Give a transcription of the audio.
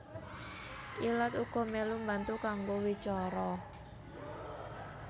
Ilat uga mèlu mbantu kanggo wicara